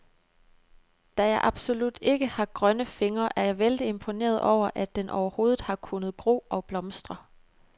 Da jeg absolut ikke har grønne fingre, er jeg vældig imponeret over, at den overhovedet har kunnet gro og blomstre.